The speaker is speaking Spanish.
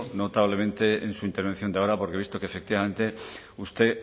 notablemente en su intervención de ahora porque he visto que efectivamente usted